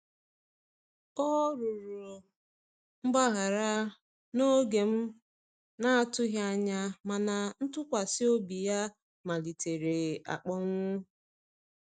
Ọ rụrọ mgbahara na oge m atughi anya, mana ntụkwasi obi ya malitere akponwụ